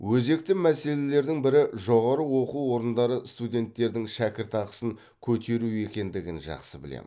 өзекті мәселелердің бірі жоғары оқу орындары студенттердің шәкіртақысын көтеру екендігін жақсы білемін